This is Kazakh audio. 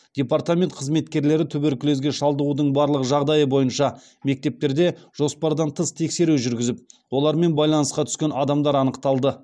департамент қызметкерлері туберкулезге шалдығудың барлық жағдайы бойынша мектептерде жоспардан тыс тексеру жүргізіп олармен байланысқа түскен адамдар анықталды